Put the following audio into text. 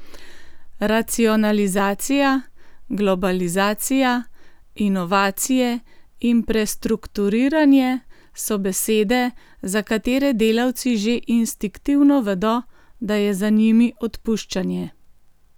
Racionalizacija, globalizacija, inovacije in prestrukturiranje so besede, za katere delavci že instinktivno vedo, da je za njimi odpuščanje.